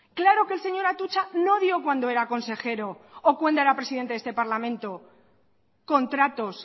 claro que el señor atutxa no dio cuando era consejero o cuando era presidente de este parlamento contratos